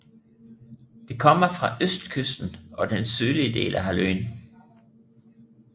Det kommer fra østkysten og den sydlige del af halvøen